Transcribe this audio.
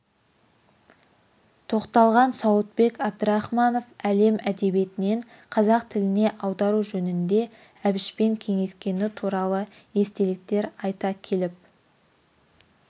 тоқталған сауытбек әбдрахманов әлем әдебиетінен қазақ тіліне аудару жөнінде әбішпен кеңескені туралы естеліктер айта келіп